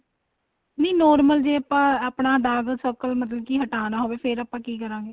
ਨਹੀਂ normal ਜ਼ੇ ਆਪਾਂ ਆਪਣਾ dark circle ਮਤਲਬ ਕੀ ਹਟਾਣਾ ਹੋਵੇ ਫ਼ੇਰ ਆਪਾਂ ਕੀ ਕਰਾਂਗੇ